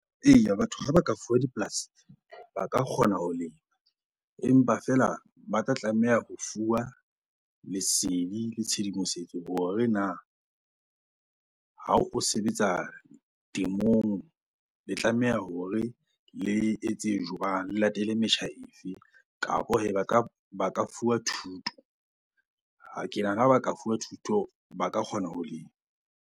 Eya batho ha ba ka fuwa dipolasi ba ka kgona ho lema. Empa feela ba tla tlameha ho fuwa lesedi le tshedimosetso hore na ha o sebetsa temong le tlameha hore le etse jwang? Le latele metjha efe? Kapo hee ba ka fuwa thuto. Ke nahana ha ka fuwa thuto ba ka kgona ho lema.